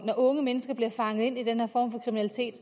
unge mennesker bliver fanget ind i den her form for kriminalitet